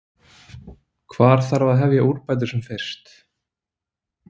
Hvar þarf að hefja úrbætur sem fyrst?